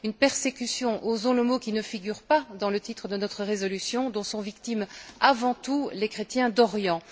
Une persécution osons le mot, qui ne figure pas dans le titre de notre résolution dont sont victimes avant tout les chrétiens d'Orient.